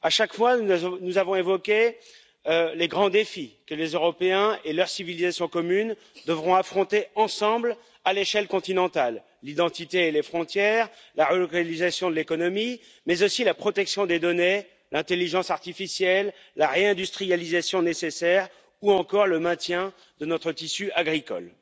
À chaque fois, nous avons évoqué les grands défis que les Européens et leur civilisation commune devront affronter ensemble, à l'échelle continentale l'identité et les frontières, la relocalisation de l'économie, mais aussi la protection des données, l'intelligence artificielle, la réindustrialisation nécessaire ou encore le maintien de notre tissu agricole.